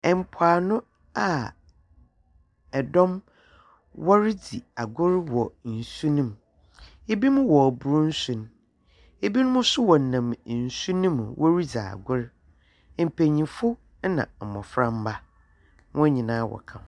Mpoano a dɔm woridzi agor wɔ nsu no mu, binom wɔrobor nsu no, binom so wɔnam nsu no mu woridzi agor. Mpanyimfo na mboframba, hɔn nyina wɔka ho.